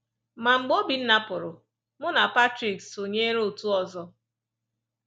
Ma, mgbe Obinna pụrụ, mụ na Patrick sonyeere otu ọzọ.